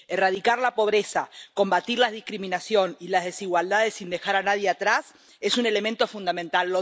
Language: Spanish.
Erradicar la pobreza, combatir la discriminación y las desigualdades sin dejar a nadie atrás es un elemento fundamental